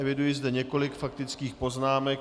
Eviduji zde několik faktických poznámek.